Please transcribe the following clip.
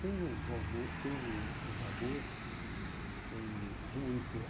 Tem o, tem uh, o, tem o... Os humoristas, né?